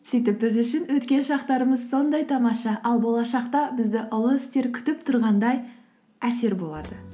сөйтіп біз үшін өткен шақтарымыз сондай тамаша ал болашақта бізді ұлы істер күтіп тұрғандай әсер болады